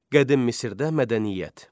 Qədim Misirdə mədəniyyət.